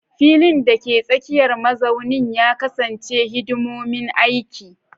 Filin, dake tsakiyar mazaunin, ya kasance hidimomin aiki.